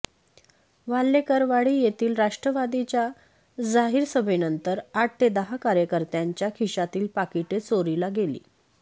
वाल्हेकरवाडी येथील राष्ट्रवादीच्या जाहीर सभेनंतर आठ ते दहा कार्यकर्त्यांच्या खिशातील पाकिटे चोरीला गेली